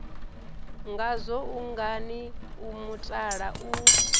ngazwo ungani o mutala u